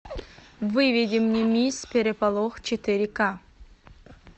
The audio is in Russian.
выведи мне мисс переполох четыре ка